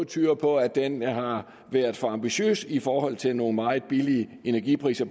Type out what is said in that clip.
tyder på at den har været for ambitiøs set i forhold til nogle meget billige energipriser